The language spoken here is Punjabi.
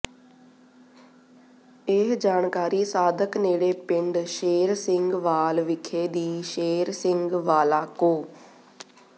ਇਹ ਜਾਣਕਾਰੀ ਸਾਦਿਕ ਨੇੜੇ ਪਿੰਡ ਸ਼ੇਰ ਸਿੰਘ ਵਾਲ ਵਿਖੇ ਦੀ ਸ਼ੇਰ ਸਿੰਘ ਵਾਲਾ ਕੋਅ